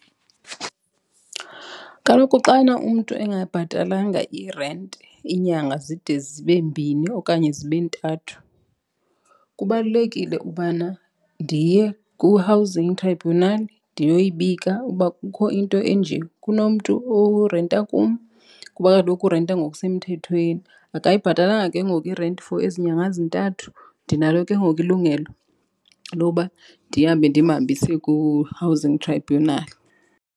Kaloku xana umntu engabhatalanga irenti iinyanga zide zibe mbini okanye zibe ntathu kubalulekile ubana ndiye ku-housing tribunal ndiyoyibika uba kukho into enje. Kunomntu orenta kum kuba kaloku urenta ngokusemthethweni, akayibhatalanga ke ngoku irenti for ezi nyanga zintathu. Ndinalo ke ngoku ilungelo loba ndihambe ndimhambise ku-housing tribunal.